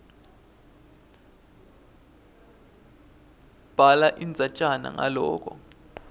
bhala indzatjana ngaloko